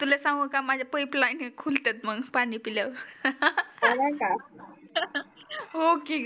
तुले सांगू का माझ्या पाइप लाइन खुल तात पानी पील्यावर हो की